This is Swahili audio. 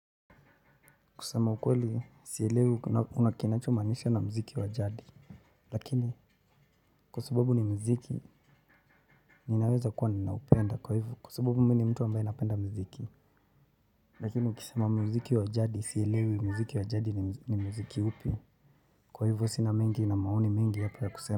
Kusema ukweli, siyelewi unakinacho manisha na mziki wa jadi. Lakini, kwa sababu ni mziki, ninaweza kuwa ninaupenda kwa hivo, kwa sababu mimi ni mtu ambaye napenda mziki. Lakini, ukisema mziki wa jadi, siyelewi mziki wa jadi ni mziki upi. Kwa hivo, sina mengi na maoni mengi yapo ya kusema.